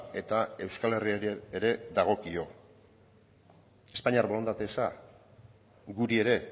eta euskal herriari ere dagokio espainiar borondate eza guri ere